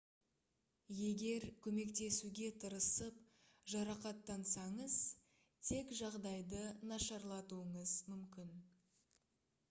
егер көмектесуге тырысып жарақаттансаңыз тек жағдайды нашарлатуыңыз мүмкін